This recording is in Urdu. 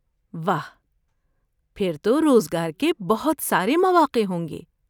واہ! پھر تو روزگار کے بہت سارے مواقع ہوں گے۔